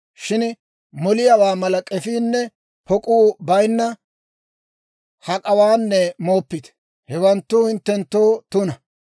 Shin moliyaawaa mala k'efiinne pok'uu bayinna hak'awaanne mooppite. Hewanttu hinttenttoo tuna.